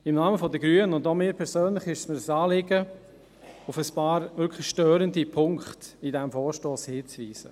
Im Namen der Grünen, und auch mir persönlich ist es ein Anliegen, auf ein paar wirklich störende Punkte in diesem Vorstoss hinzuweisen.